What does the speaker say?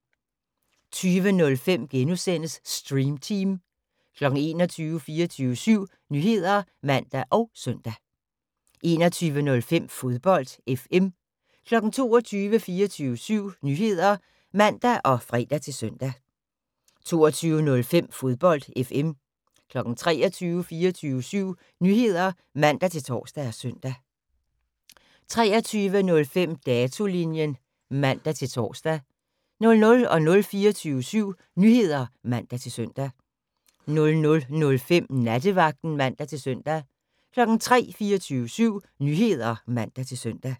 20:05: Stream Team * 21:00: 24syv Nyheder (man og søn) 21:05: Fodbold FM 22:00: 24syv Nyheder (man og fre-søn) 22:05: Fodbold FM 23:00: 24syv Nyheder (man-tor og søn) 23:05: Datolinjen (man-tor) 00:00: 24syv Nyheder (man-søn) 00:05: Nattevagten (man-søn) 03:00: 24syv Nyheder (man-søn)